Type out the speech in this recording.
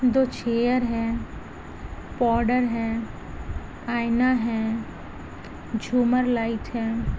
दो चेयर है पौडर है आईना है झूमर लाइट है ।